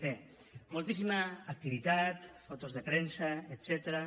bé moltíssima activitat fotos de premsa etcètera